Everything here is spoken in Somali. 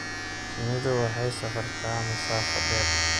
Shinnidu waxay safartaa masaafo dheer.